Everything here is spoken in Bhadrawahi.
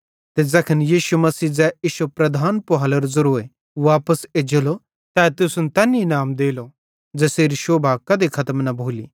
ते ज़ैखन यीशु मसीह ज़ै इश्शो प्रधान पुहालेरो ज़ेरोए वापस एज्जेलो त तै तुसन तैन इनाम देलो ज़ेसेरी शोभा कधे खतम न भोली